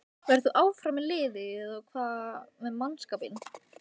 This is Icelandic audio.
Verður þú áfram með liðið og hvað með mannskapinn?